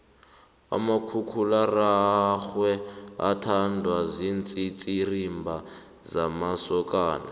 umakhakhulararwe uthandwa ziintsitsirimba zamasokana